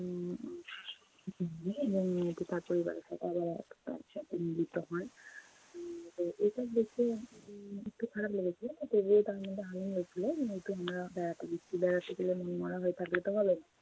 এবং মেয়েটি তার পরিবারের সাথে আবার এক একসাথে মিলিত হয়। হম তো এটা দেখে উম একটু খারাপ লেগেছিলো। যেহেতু আমরা যেহেতু আমরা বেড়াতে গেছি। বেড়াতে গেলে মন মরা হয়ে থাকলে তো হবে না।